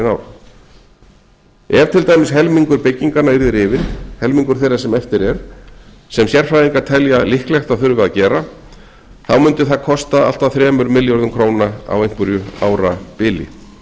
ár ef til dæmis helmingur bygginganna yrði rifinn sem sérfræðingar telja líklegt að þurfi þá mundi það kosta allt að þremur milljörðum króna á einhverju árabili í